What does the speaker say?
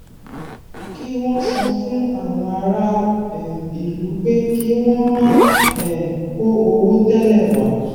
kí wọn sọ fún àwọn ará um ìlú pé kí wọn má um kó owó tẹlẹ wá